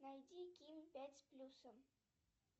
найди ким пять с плюсом